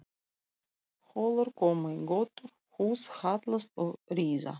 Holur koma í götur, hús hallast og riða.